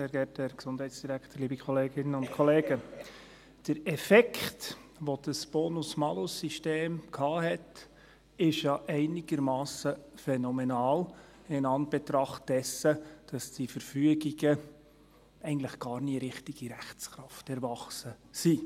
Der Effekt, den das Bonus-Malus-System hatte, ist einigermassen phänomenal, in Anbetracht dessen, dass die Verfügungen gar nie richtig in Rechtskraft erwachsen sind.